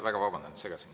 Väga vabandan, et segasin.